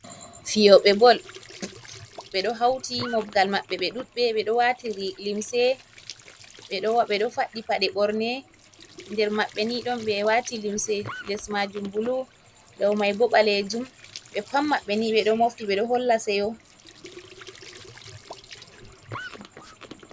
fiyobe bol be do hauti mobgal mabɓe be dudbe ɓe do watiri limse ɓedo faddi pade borne. Nder maɓɓe ni don be wati limse les majum bulu daw mai bo balejum be pat mabbe ni be ɗo mofti ɓe do holla seyo.